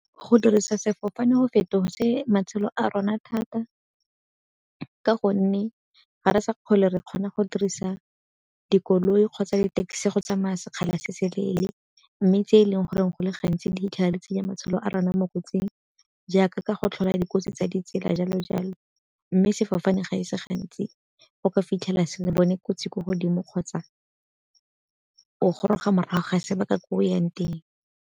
Go dirisa sefofane go fetotse matshelo a rona thata ka gonne ga re sa tlhole re kgona go dirisa dikoloi kgotsa di-taxi go tsamaya sekgala se se leele. Mme tse e leng goreng go le gantsi di 'itlhela di tsenya matshelo a rona mo kotsing jaaka ka go tlhola dikotsi tsa ditsela jalo jalo. Mme sefofane ga e se gantsi o ka fitlhela se bone kotsi ko godimo kgotsa o goroga morago ga sebaka ko o yang teng.